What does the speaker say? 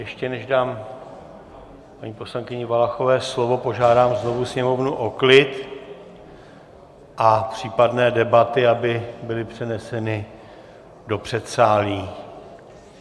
Ještě než dám paní poslankyni Valachové slovo, požádám znovu sněmovnu o klid a případné debaty aby byly přeneseny do předsálí.